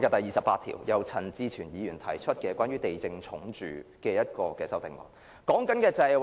讓我談談由陳志全議員提出關乎地政總署的修正案編號28。